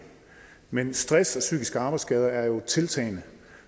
men stress og psykiske arbejdsskader er jo i tiltagende